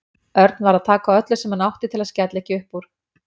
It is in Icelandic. Örn varð að taka á öllu sem hann átti til að skella ekki upp úr.